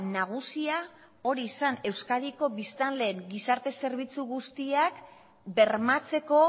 nagusia hori zen euskadiko biztanleen gizarte zerbitzu guztiak bermatzeko